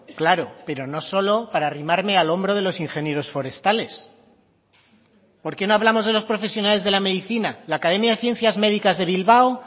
claro pero no solo para arrimarme al hombro de los ingenieros forestales por qué no hablamos de los profesionales de la medicina la academia de ciencias médicas de bilbao